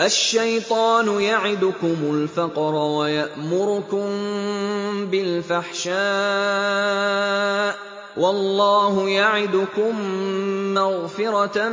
الشَّيْطَانُ يَعِدُكُمُ الْفَقْرَ وَيَأْمُرُكُم بِالْفَحْشَاءِ ۖ وَاللَّهُ يَعِدُكُم مَّغْفِرَةً